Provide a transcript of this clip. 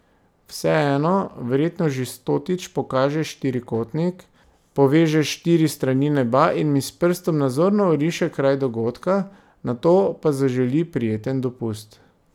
Vseeno, verjetno že stotič pokaže štirikotnik, poveže štiri strani neba in mi s prstom nazorno oriše kraj dogodka, nato pa zaželi prijeten dopust.